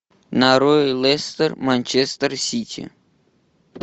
нарой лестер манчестер сити